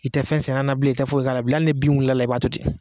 I tɛ fɛn sɛnɛ a na bilen i tɛ foyi k'a la bilen ali ni bin wilila i b'a to ten